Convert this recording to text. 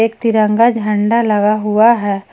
एक तिरंगा झंडा लगा हुआ है।